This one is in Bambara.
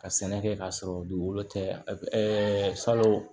Ka sɛnɛ kɛ k'a sɔrɔ dugukolo tɛ ɛɛ salon